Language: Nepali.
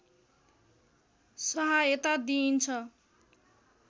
सहायता दिइन्छ